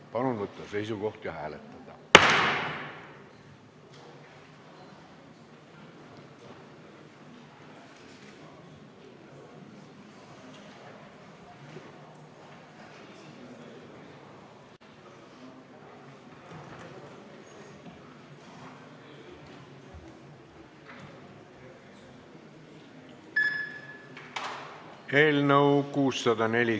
Palun võtta seisukoht ja hääletada!